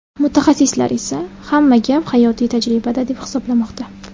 Mutaxassislar esa hamma gap hayotiy tajribada, deb hisoblamoqda.